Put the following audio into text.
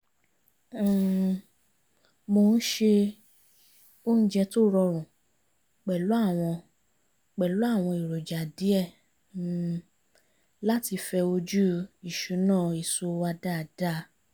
um mo ṣe oúnjẹ tó rọrùn pẹ̀lú àwọn pẹ̀lú àwọn èròjà díẹ̀ um láti fẹ ojú ìṣúná èso wa dáadáa